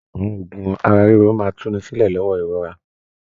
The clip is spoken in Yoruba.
Àwọn oògùn ara-ríro máa tùnísílẹ̀ lọwọ ìrora. l